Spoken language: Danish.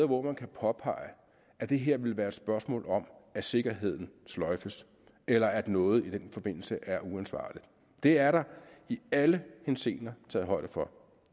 hvor man kan påpege at det her vil være et spørgsmål om at sikkerheden sløjfes eller at noget i den forbindelse er uansvarligt det er der i alle henseender taget højde for